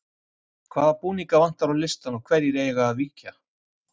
Hvaða búninga vantar á listann og hverjir eiga að víkja?